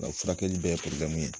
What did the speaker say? U ka furakɛli bɛ ye ye.